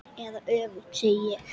Eða öfugt, segi ég.